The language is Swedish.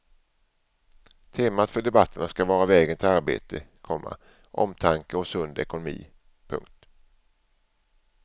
Temat för debatterna ska vara vägen till arbete, komma omtanke och sund ekonomi. punkt